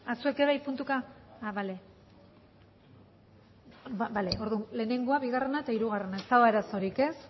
zuek ere bai puntuka orduan lehenengoa bigarrena eta hirugarrena ez dago arazorik ez